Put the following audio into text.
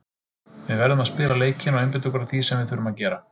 Við verðum að spila leikinn og einbeita okkur að því sem við þurfum að gera.